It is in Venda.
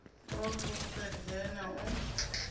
u a fulufhedzea na u